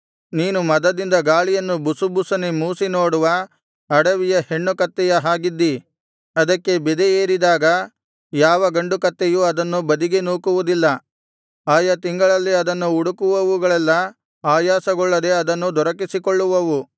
ನೀನು ಮದದಿಂದ ಗಾಳಿಯನ್ನು ಬುಸುಬುಸನೆ ಮೂಸಿ ನೋಡುವ ಅಡವಿಯ ಹೆಣ್ಣು ಕಾಡುಕತ್ತೆಯ ಹಾಗಿದ್ದಿ ಅದಕ್ಕೆ ಬೆದೆ ಏರಿದಾಗ ಯಾವ ಗಂಡು ಕತ್ತೆಯೂ ಅದನ್ನು ಬದಿಗೆ ನೂಕುವುದಿಲ್ಲ ಆಯಾ ತಿಂಗಳಿನಲ್ಲಿ ಅದನ್ನು ಹುಡುಕುವವುಗಳೆಲ್ಲಾ ಆಯಾಸಗೊಳ್ಳದೆ ಅದನ್ನು ದೊರಕಿಸಿಕೊಳ್ಳುವವು